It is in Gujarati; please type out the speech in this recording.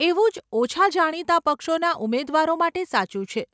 એવું જ ઓછાં જાણીતાં પક્ષોના ઉમેદવારો માટે સાચું છે.